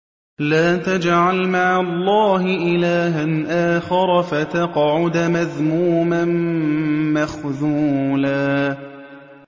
لَّا تَجْعَلْ مَعَ اللَّهِ إِلَٰهًا آخَرَ فَتَقْعُدَ مَذْمُومًا مَّخْذُولًا